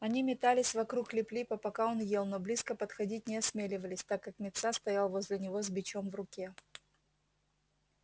они метались вокруг лип липа пока он ел но близко подходить не осмеливались так как мит са стоял возле него с бичом в руке